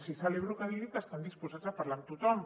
sí que celebro que digui que estan disposats a parlar amb tothom